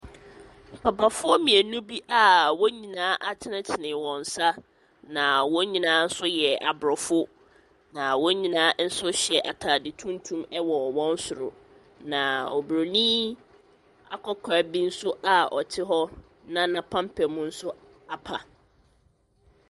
Papafoɔ mmienu bi a wɔn nyinaa atenetene wɔn nsa na wɔn nyinaa nso yɛ aborɔfo, na wɔn nyinaa nso hyɛ ataade tuntum wɔ wɔn soro. Na obronin akɔkora bi nso a ɔte hɔ na n’apampam nso apa.